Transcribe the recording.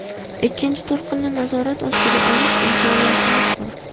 Ikkinchi to‘lqinni nazorat ostiga olish imkoniyatimiz bor.